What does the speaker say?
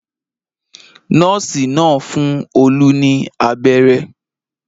Nọ́ọ́sì náà ń fún Olú ní abẹ́rẹ́.